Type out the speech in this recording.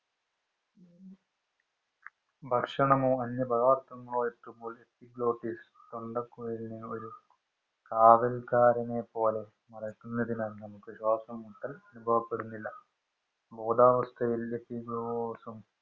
ഭക്ഷണമോ അന്യ പദാർത്ഥങ്ങളോ എത്തുമ്പോൾ epilotes തൊണ്ടകുഴലിനെ കാവൽക്കാരനെ പോലെ മറക്കുന്നതിനാൽ നമ്മുക്ക് ശ്വാസമുട്ടൽ നമ്മുക്ക് അനുഭവപ്പെടുന്നില്ല ബോധാവസ്ഥയിൽ